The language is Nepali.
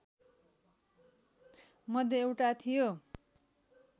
मध्ये एउटा थियो